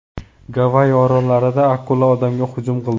Gavayi orollarida akula odamga hujum qildi.